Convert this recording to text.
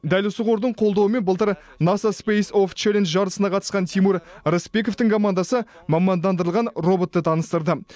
дәл осы қордың қолдауымен былтыр насас спейс апс челлендж жарысына қатысқан тимур рысбековтің командасы мамандандырылған роботты таныстырды